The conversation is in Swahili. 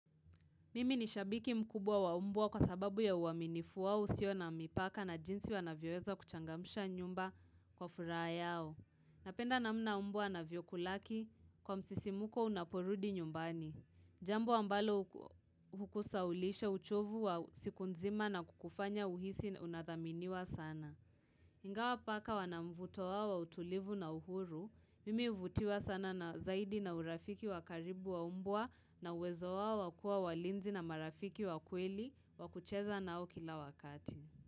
Mimi ni shabiki mkubwa wa mbwa kwa sababu ya uaminifu wao usio na mipaka na jinsi wanavyoweza kuchangamsha nyumba kwa furaha yao. Napenda namna mbwa anavyokulaki kwa msisimko unaporudi nyumbani. Jambo ambalo hukusahaulisha uchovu wa siku nzima na kukufanya uhisi unathaminiwa sana. Ingawa paka wana mvuto wao wa utulivu na uhuru, mimi huvutiwa sana na zaidi na urafiki wa karibu wa mbwa na uwezo wao wa kuwa walinzi na marafiki wa kweli wakucheza nao kila wakati.